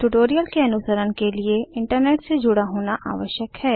tutorial के अनुसरण के लिए इंटरनेट से जुड़ा होना आवश्यक है